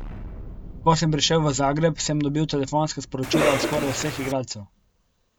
Ko sem prišel v Zagreb, sem dobil telefonska sporočila od skoraj vseh igralcev.